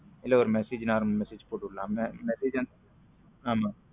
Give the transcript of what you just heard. ஆமா இல்ல ஒரு message normal message போட்டு விடலாம்ல